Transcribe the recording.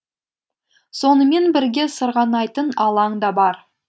сонымен бірге сырғанайтын алаң да бар